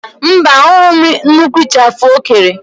Mba, ahụghị m nnukwu ịchafụ o kere.